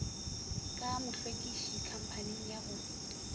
ka mohlwekiši khamphaning ya go